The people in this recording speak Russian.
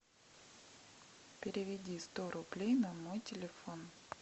переведи сто рублей на мой телефон